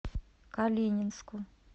калининску